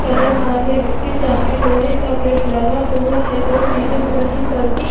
Colour का है। जिसके सामने लोहे का गेट लगा हुआ है और पीले कलर की परदी --